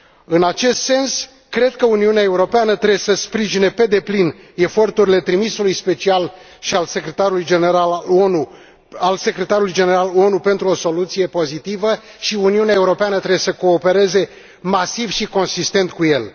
În acest sens, cred că Uniunea Europeană trebuie să sprijine pe deplin eforturile trimisului special și al Secretarului General ONU pentru o soluție pozitivă și Uniunea Europeană trebuie să coopereze masiv și consistent cu el.